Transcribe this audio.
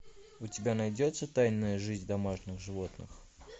у тебя найдется тайная жизнь домашних животных